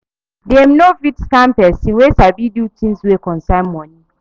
Dem no fit scam pesin wey sabi do things wey concern moni